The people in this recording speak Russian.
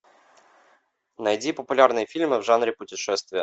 найди популярные фильмы в жанре путешествия